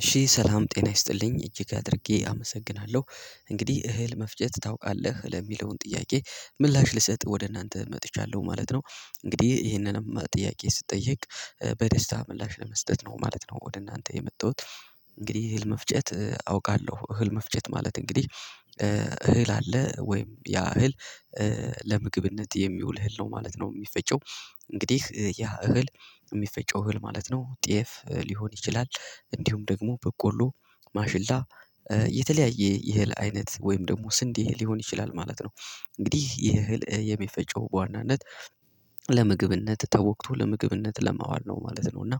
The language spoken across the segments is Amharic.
እሺ ሰላም ጤና ይስጥልኝ እጅግ አድርጌ አመሰግናለሁ እንግዲህ እህል መፍጨት ታውቃለህ ለሚለውን ጥያቄ ምላሽ ልሰጥ ወደ እናንተ መጥቻለሁ ማለት ነው። እንግዲህ ይሄንንም ጥያቄ ስትጠየቅ በደስታ ምላሽ ለመስጠት ነው ማለት ነው ወደ እናንተ የመጣሁት። እንግዲህ እህል መፍጨት አውቃለሁ እህል መፍጨት ማለት እንግዲህ እህል አለ ወይም ያ እህል ለምግብነት የሚውል እህል ነው ማለት ነው የሚፈጨው። እንግዲህ ያ እህል የሚፈጨው እህል ማለት ነው ጤፍ ሊሆን ይችላል እንዲሁም ደግሞ በቆሎ ማሽላ የተለያየ የህል አይነት ወይም ደግሞ ስንድ የህል ሊሆን ይችላል ማለት ነው። እንግዲህ ይህ እህል የሚፈጨው በዋናነት ለምግብነት ተወክቶ ለምግብነት ለማዋል ነው ማለት ነው። እና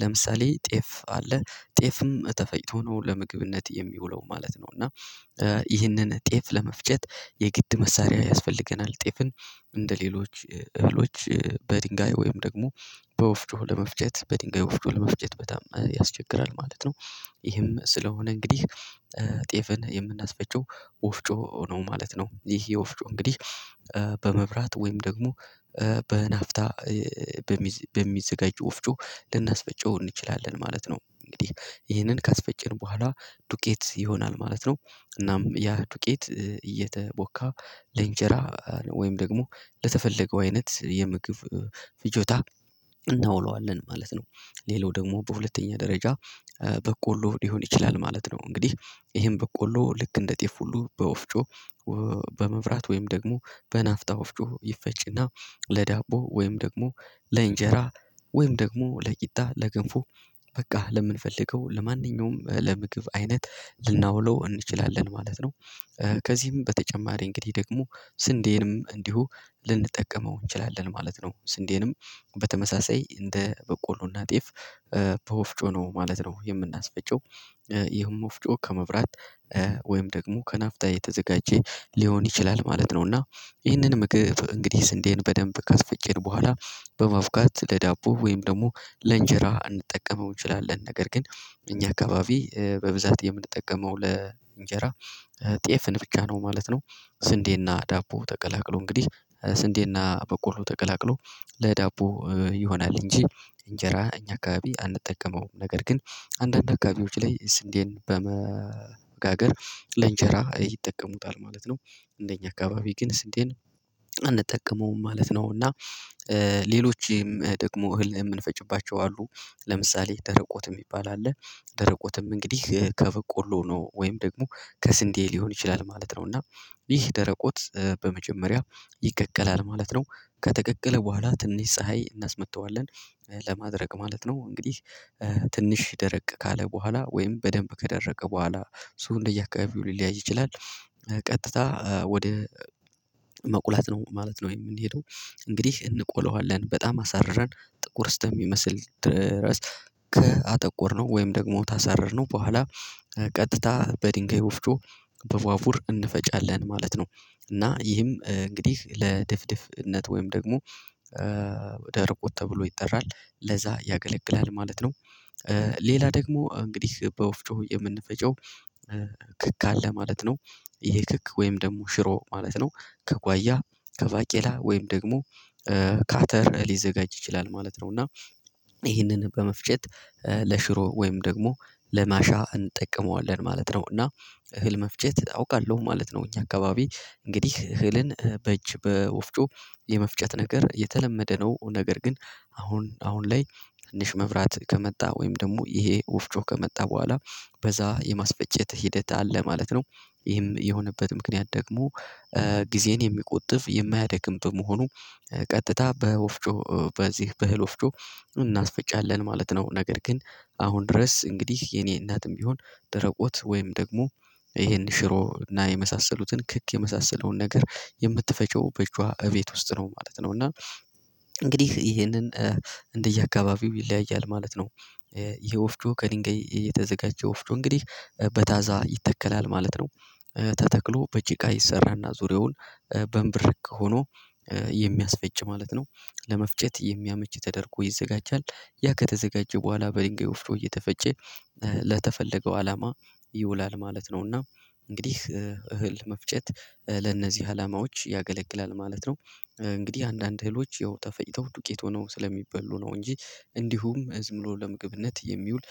ለምሳሌ ጤፍ አለ ጤፍም ተፈጭቶ ነው ለምግብነት የሚውለው ማለት ነው። እና ይህንን ጤፍ ለመፍጨት የግድ መሳሪያ ያስፈልገናል ጤፍን እንደሌሎች እህሎች በድንጋይ ወይም ደግሞ በወፍጮ ለመፍጨት በድንጋይ ወፍጮ ለመፍጨት በጣም ያስቸግራል ማለት ነው። ይህም ስለሆነ እንግዲህ ጤፍን የምናስፈጨው ወፍጮ ነው ማለት ነው። ይህ የወፍጮ እንግዲህ በመብራት ወይም ደግሞ በናፍታ በሚዘጋጅ ወፍጮ ልናስፈጨው እንችላለን ማለት ነው። እንግዲህ ይህንን ካስፈጨን በኋላ ዱቄት ይሆናል ማለት ነው። እናም ያ ዱቄት እየተቦካ ለእንጀራ ወይም ደግሞ ለተፈለገው አይነት የምግብ ፍጆታ እናውለዋለን ማለት ነው። ሌላው ደግሞ በሁለተኛ ደረጃ በቆሎ ሊሆን ይችላል ማለት ነው። እንግዲህ ይሄን በቆሎ ልክ እንደ ጤፍ ሁሉ በወፍጮ በመብራት ወይም ደግሞ በናፍጣ ወፍጆ ይፈጭና ለዳቦ ወይም ደግሞ ለእንጀራ ወይም ደግሞ ለቂጣ ለግንፉ በቃ ለምንፈልገው ለማንኛውም ለምግብ አይነት ልናውለው እንችላለን ማለት ነው። ከዚህም በተጨማሪ እንግዲህ ደግሞ ስንዴንም እንዲሁ ልንጠቀመው እንችላለን ማለት ነው። ስንዴንም በተመሳሳይ እንደ በቆሎና ጤፍ ተወፍጮ ነው ማለት ነው የምናስፈጨው ይህም ወፍጮ ከመብራት ወይም ደግሞ ከናፍጣ የተዘጋጀ ሊሆን ይችላል ማለት ነው። ነውና ይህንን ምግብ እንግዲህ ስንዴን በደንብ ካስፈጨን በኋላ በማፍካት ለዳቦ ወይም ደግሞ ለእንጀራ እንድጠቀመው እንችላለን ነገር ግን እኛ አካባቢ በብዛት የምንጠቀመው ለእንጀራ ጤፍን ብቻ ነው ማለት ነው። ስንዴና ዳቦ ተቀላቅሎ እንግዲህ ስንዴና በቆሎ ተቀላቅሎ ለዳቦ ይሆናል እንጂ እንጀራ እኛ አካባቢ አንጠቀመውም ነገር ግን አንዳንድ አካባቢዎች ላይ ስንዴን በመወጋገር ለእንጀራ ይጠቀሙታል ማለት ነው። እንደኛ አካባቢ ግን ስንዴን አንጠቀመውም ማለት ነው። እና ሌሎችም ደግሞ እህል የምንፈጭባቸው አሉ ለምሳሌ ደረቆት የሚባል አለ ደረቆትም እንግዲህ ከበቆሎ ነው ወይም ደግሞ ከስንዴ ሊሆን ይችላል ማለት ነው። እና ይህ ደረቆት በመጀመሪያ ይቅቀላል ማለት ነው። ከተቀቀለ በኋላ ትንሽ ፀሀይ እናስመጥተዋለን ለማድረቅ ማለት ነው። እንግዲህ ትንሽ ይደረቅ ካለ በኋላ ወይም በደንብ ከደረቀ በኋላ እሱ እንደየአካባቢው ሊለያይ ይችላል። ቀጥታ ወደ መቁላት ነው ማለት ነው የምንሄደው። እንግዲህ እንቆለዋለን በጣም አሳርረን ጥቁር እስተሚመስል ድረስ ከአጠቆርነው ወይም ደግሞ ታሳረርነው በኋላ ቀጥታ በድንጋይ ወፍጮ በቧቡር እንፈጫለን ማለት ነው። እና ይህም እንግዲህ ለድፍድፍነት ወይም ደግሞ ወደ ርቆት ተብሎ ይጠራል ለዛ ያገለግላል ማለት ነው። ሌላ ደግሞ እንግዲህ በወፍጮ የምንፈጨው ክክ አለ ማለት ነው። ይሄ ክክ ወይም ደግሞ ሽሮ ማለት ነው ከጓያ ከባቄላ ወይም ደግሞ ካተር ሊዘጋጅ ይችላል ማለት ነው። እና ይሄንን በመፍጨት ለሽሮ ወይም ደግሞ ለማሻ እንጠቀመዋለን ማለት ነው። እና እህል መፍጨት አውቃለሁ ማለት ነው። እኛ አካባቢ እንግዲህ እህልን በእጅ በወፍጮ የመፍጨት ነገር የተለመደ ነው ነገር ግን አሁን አሁን ላይ ትንሽ መብራት ከመጣ ወይም ደግሞ ይሄ ወፍጮ ከመጣ በኋላ በዛ የማስፈጨት ሂደት አለ ማለት ነው። ይህም የሆነበት ምክንያት ደግሞ ጊዜን የሚቆጥፍ የማያደክም በመሆኑ ቀጥታ በወፍጮ በዚህ በህል ወፍጮ እናስፈጫለን ማለት ነው። ነገር ግን አሁን ድረስ እንግዲህ የኔ እናትም ቢሆን ደረቆት ወይም ደግሞ ይሄን ሽሮ እና የመሳሰሉትን ክክ የመሳሰለውን ነገር የምትፈጨው በእጅዋ እቤት ውስጥ ነው ማለት ነው። እና እንግዲህ ይሄንን እንደየ አከባቢው ይለያያል ማለት ነው። ይሄ ወፍጮ ከድንጋይ የተዘጋጀ ወፍጮ እንግዲህ በታዛ ይተከላል ማለት ነው። ተተክሎ በጭቃ ይሰራልና ዙሪያውን በንብርክ ሆኖ የሚያስፈጭ ማለት ነው። ለመፍጨት የሚያመች ተደርጎ ይዘጋጃል ያ ከተዘጋጀ በኋላ በድንጋይ ወፍጮ እየተፈጨ ለተፈለገው አላማ ይውላል ማለት ነውና። እንግዲህ እህል መፍጨት ለእነዚህ አላማዎች ያገለግላል ማለት ነው። እንግዲህ አንዳንድ እህሎች ያው ተፈጭተው ዱቄት ሆነው ስለሚበሉ ነው እንጂ እንዲሁም እዝምሎ ለምግብነት የሚውል።